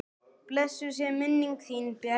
Blessuð sé minning þín Bjarni.